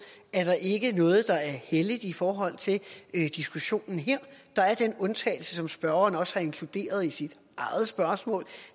er der ikke noget der er helligt i forhold til diskussionen her der er den undtagelse som spørgeren også har inkluderet i sit eget spørgsmål